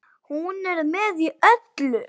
Hún er með í öllu